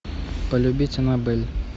полюбить аннабель